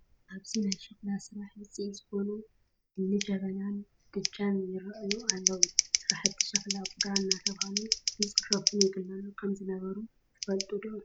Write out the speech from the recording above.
ኣብዚ ናይ ሸክላ ስራሐ ውፅኢት ዝኾኑ እኒ ጀበናን ምድጃን ይርአዩ ኣለዉ፡፡ ሰራሕቲ ሸኽላ ቡዳ እናተባህሉ ይፅረፉን ይግለሉን ከምዝነበሩ ትፈልጡ ዶ?